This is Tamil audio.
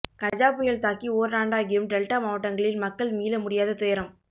கஜா புயல் தாக்கி ஓராண்டாகியும் டெல்டா மாவட்டங்களில் மக்கள் மீள முடியாத துயரம்